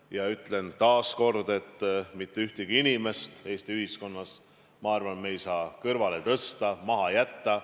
Ma ütlen veel kord, et mitte ühtegi inimest Eesti ühiskonnas ei saa kõrvale tõsta, maha jätta.